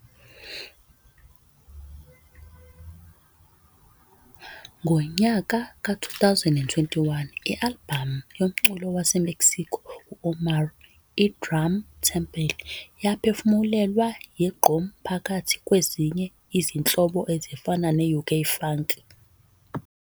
Ngo-2021, i-albhamu yomculo waseMexico i-OMAAR, i-"Drum Temple" yaphefumulelwa yi- gqom phakathi kwezinye izinhlobo ezifana ne-UK funky.